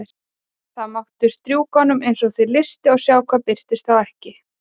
Þá máttu strjúka honum eins og þig lystir og sjá hvað birtist þá ekki.